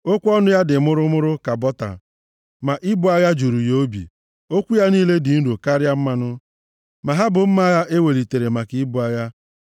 Okwu ọnụ ya dị mụrụmụrụ + 55:21 Ya bụ, okwu ire ụtọ ka bọta, ma ibu agha juru ya obi; okwu ya niile dị nro karịa mmanụ, ma ha bụ mma agha e welitere maka ibu agha.